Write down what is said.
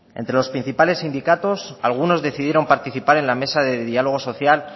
entre los principales sindicatos algunos decidieron participar en la mesa de diálogo social